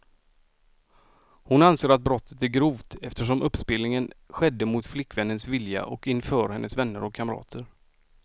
Hon anser att brottet är grovt, eftersom uppspelningen skedde mot flickvännens vilja och inför hennes vänner och kamrater.